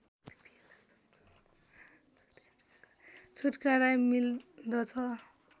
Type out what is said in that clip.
छुटकरा मिल्दछ